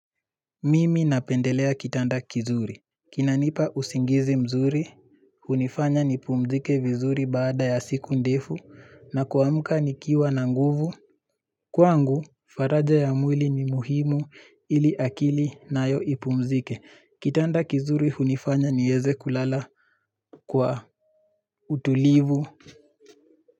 Mimi napendelea kitanda kizuri kinanipa usingizi mzuri, hunifanya nipumzike vizuri baada ya siku ndifu na kuamuka nikiwa na nguvu Kwangu, faraja ya mwili ni muhimu ili akili nayo ipumzike, kitanda kizuri unifanya niweze kulala kwa utulivu.